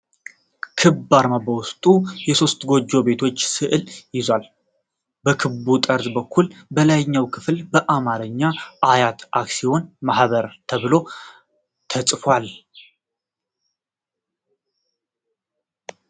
ክብ አርማ በውስጡ የሶስት ጎጆ ቤቶችን ስዕል ይዟል። በክቡ ጠርዝ በኩል በላይኛው ክፍል በአማርኛ "አያት አክስዮን ማህበር" ተብሎ ተጽፏል ።